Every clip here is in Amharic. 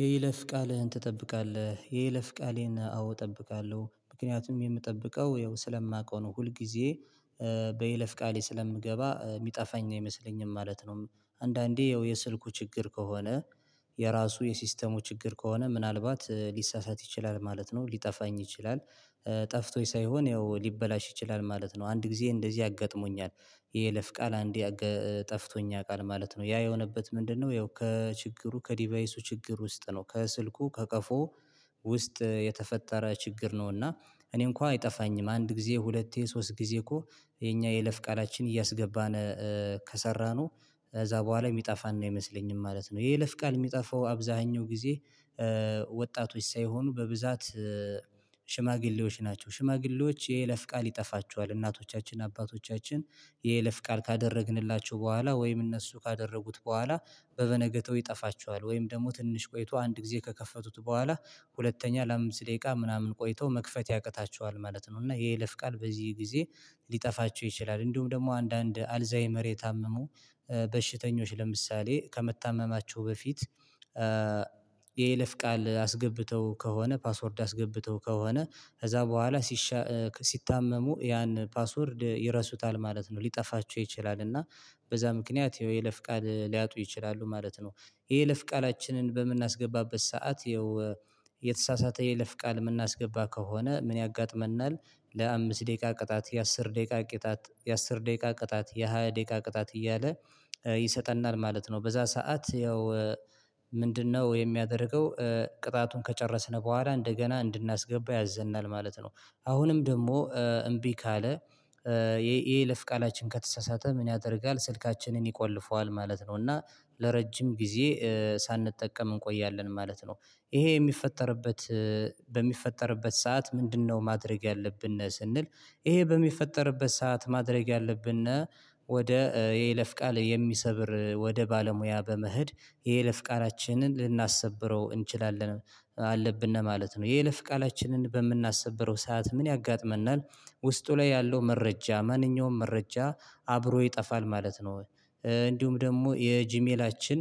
የይለፍ ቃልህን ትጠብቃለህ የይለፍ ቃሌን አዎ እጠብቃለሁ ምክንያቱም የምጠብቀው ያው ስለማውቀው ነው ሁል ጊዜ በይለፍ ቃሌ ስለምገባ የሚጠፋኝ ነው አይመስለኝም ማለት ነው። አንዳንዴ የስልኩ ችግር ከሆነ። የራሱ የሲስተሙ ችግር ከሆነ ምናልባት ሊሳሳት ይችላል ማለት ነው ሊጠፋኝ ይችላል። ጠፍቶኝ ሳይሆን ያው ሊበላሽ ይችላል ማለት ነው። አንድ ጊዜ እንደዚህ አጋጥሞኛል። የይለፍ ቃል አንዴ ጠፍቶኝ ያውቃል ማለት ነው። ያ የሆነበት ምንድነው ያው ከችግሩ ከዲቫይሱ ችግር ውስጥ ነው ከስልኩ ከቀፎ ውስጥ የተፈጠረ ችግር ነው። እና እኔ እንኳን አይጠፋኝም አንድ ጊዜ ሁለቴ ሶስት ጊዜ እኮ የኛ የለፍ ቃላችን እያስገባን ከሰራነው እዛ በኋላ የሚጠፋን ነው አይመስለኝም ማለት ነው። የይለፍ ቃል የሚጠፋው አብዛኛው ጊዜ ወጣቶች ሳይሆኑ በብዛት ሽማግሌዎች ናቸው። ሽማግሌዎች የይለፍ ቃል ይጠፋቸዋል እናቶቻችን አባቶቻችን የይለፍ ቃል ካደረግንላቸው በኋላ ወይም እነሱ ካደረጉት በኋላ በበነገታው ይጠፋቸዋል ወይም ደግሞ ትንሽ ቆይቶ አንድ ጊዜ ከከፈቱት በኋላ ሁለተኛ ለአምስት ደቂቃ ምናምን ቆይተው መክፈት ያቅታቸዋል ማለት ነው። እና የይለፍ ቃል በዚህ ጊዜ ሊጠፋቸው ይችላል። እንዲሁም ደግሞ አንዳንድ አልዛይመር የታመሙ በሽተኞች ለምሳሌ ከመታመማቸው በፊት የይለፍ ቃል አስገብተው ከሆነ ፓስወርድ አስገብተው ከሆነ ከዛ በኋላ ሲታመሙ ያን ፓስወርድ ይረሱታል ማለት ነው ሊጠፋቸው ይችላል። እና በዛ ምክንያት የይለፍ ቃል ሊያጡ ይችላሉ ማለት ነው። የይለፍ ቃላችንን በምናስገባበት ሰዓት የተሳሳተ የይለፍ ቃል የምናስገባ ከሆነ ምን ያጋጥመናል? ለአምስት ደቂቃ ቅጣት የአስር ደቂቃ ቅጣት የአስር ደቂቃ ቅጣት የሃያ ደቂቃ ቅጣት እያለ ይሰጠናል ማለት ነው። በዛ ሰዓት ያው ምንድነው የሚያደርገው? ቅጣቱን ከጨረስን በኋላ እንደገና እንድናስገባ ያዘናል ማለት ነው። አሁንም ደግሞ እምቢ ካለ የይለፍ ቃላችን ከተሳሳተ ምን ያደርጋል ስልካችንን ይቆልፈዋል ማለት ነው። እና ለረጅም ጊዜ ሳንጠቀም እንቆያለን ማለት ነው። ይሄ የሚፈጠርበት በሚፈጠርበት ሰዓት ምንድነው? ማድረግ ያለብን ስንል ይሄ በሚፈጠርበት ሰዓት ማድረግ ያለብን ወደ የይለፍ ቃል የሚሰብር ወደ ባለሙያ በመሄድ የይለፍ ቃላችንን ልናሰብረው እንችላለን አለብን ማለት ነው። የይለፍ ቃላችንን በምናሰብረው ሰዓት ምን ያጋጥመናል? ውስጡ ላይ ያለው መረጃ ማንኛውም መረጃ አብሮ ይጠፋል ማለት ነው። እንዲሁም ደግሞ የጂሜላችን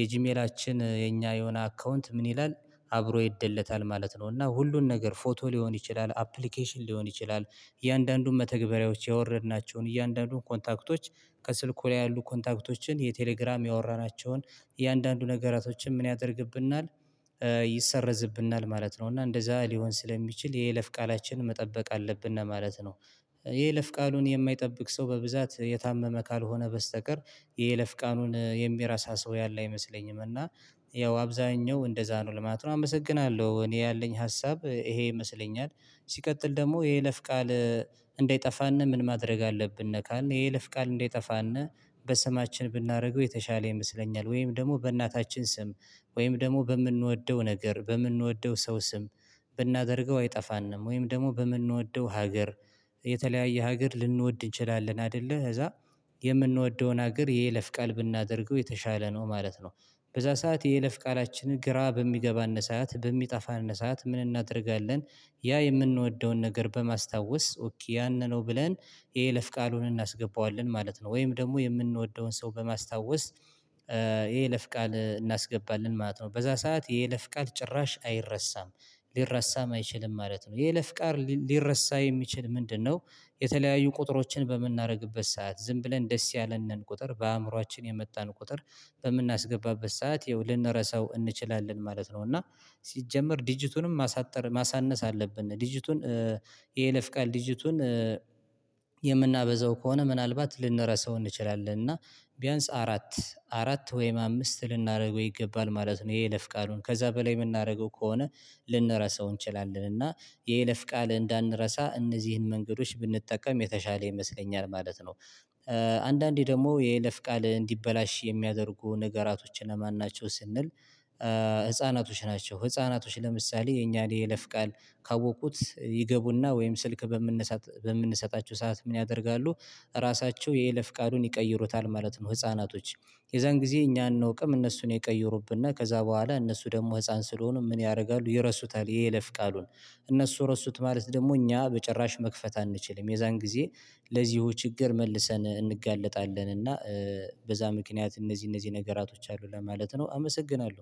የጂሜላችን የኛ የሆነ አካውንት ምን ይላል? አብሮ ይደለታል ማለት ነው እና ሁሉን ነገር ፎቶ ሊሆን ይችላል አፕሊኬሽን ሊሆን ይችላል እያንዳንዱን መተግበሪያዎች ያወረድናቸውን እያንዳንዱን ኮንታክቶች ከስልኩ ላይ ያሉ ኮንታክቶችን የቴሌግራም ያወራናቸውን የእያንዳንዱ ነገሮችን ምን ያደርግብናል ይሰረዝብናል ማለት ነው። እና እንደዛ ሊሆን ስለሚችል የይለፍ ቃላችንን መጠበቅ አለብን ማለት ነው። ይሄ ይለፍ ቃሉን የማይጠብቅ ሰው በብዛት የታመመ ካልሆነ በስተቀር የይለፍ ቃሉን የሚረሳ ሰው ያለ አይመስለኝም። እና ያው አብዛኛው እንደዛ ነው ለማለት ነው አመሰግናለሁ እኔ ያለኝ ሀሳብ ይሄ ይመስለኛል። ሲቀጥል ደግሞ ይሄ ለፍ ቃል እንዳይጠፋነ ምን ማድረግ አለብን ካልነ የይለፍ ቃል እንደጠፋን በስማችን ብናደርገው የተሻለ ይመስለኛል። ወይም ደግሞ በእናታችን ስም ወይም ደግሞ በምንወደው ነገር በምንወደው ሰው ስም ብናደርገው አይጠፋንም ወይም ደግሞ በምንወደው ሀገር የተለያየ ሀገር ልንወድ እንችላለን አይደለ እዛ የምንወደውን ሀገር የየለፍ ቃል ብናደርገው የተሻለ ነው ማለት ነው። በዛ ሰዓት የየለፍ ቃላችንን ግራ በሚገባን ሰዓት በሚጠፋን ሰዓት ምን እናደርጋለን? ያ የምንወደውን ነገር በማስታወስ ያንን ነው ብለን የይለፍ ቃሉን እናስገባዋለን ማለት ነው። ወይም ደግሞ የምንወደውን ሰው በማስታወስ የይለፍ ቃል እናስገባለን ማለት ነው። በዛ ሰዓት የይለፍ ቃል ጭራሽ አይረሳም ሊረሳም አይችልም ማለት ነው። የይለፍ ቃል ሊረሳ የሚችል ምንድነው? የተለያዩ ቁጥሮችን በምናደርግበት ሰዓት ዝም ብለን ደስ ያለን ነን ቁጥር በአእምሮአችን የመጣን ቁጥር በምናስገባበት ሰዓት ያው ልንረሳው እንችላለን ማለት ነው። እና ሲጀመር ዲጂቱንም ማሳጠር ማሳነስ አለብን ዲጂቱን የይለፍ ቃል ዲጂቱን ድርጅቱን የምናበዛው ከሆነ ምናልባት ልንረሳው እንችላለን እና ቢያንስ አራት አራት ወይም አምስት ልናደርገው ይገባል ማለት ነው። የኤለፍ ቃሉን ከዛ በላይ የምናደርገው ከሆነ ልንረሳው እንችላለን። እና የይለፍ ቃል እንዳንረሳ እነዚህን መንገዶች ብንጠቀም የተሻለ ይመስለኛል ማለት ነው። አንዳንዴ ደግሞ የይለፍ ቃል እንዲበላሽ የሚያደርጉ ነገራቶችን እነማን ናቸው? ስንል ህፃናቶች ናቸው ህፃናቶች ለምሳሌ የኛን የለፍ ቃል ካወቁት ይገቡና ወይም ስልክ በምንሰጣቸው ሰዓት ምን ያደርጋሉ? ራሳቸው የይለፍ ቃሉን ይቀይሩታል ማለት ነው። ህፃናቶች የዛን ጊዜ እኛ አንወቅም እነሱን የቀየሩብና ከዛ በኋላ እነሱ ደግሞ ህፃን ስለሆኑ ምን ያደርጋሉ ይረሱታል የይለፍ ቃሉን እነሱ ረሱት ማለት ደግሞ እኛ በጭራሽ መክፈት አንችልም። የዛን ጊዜ ለዚህ ችግር መልሰን እንጋለጣለን እና በዛ ምክንያት እነዚህ እነዚህ ነገራቶች አሉ ለማለት ነው። አመሰግናለሁ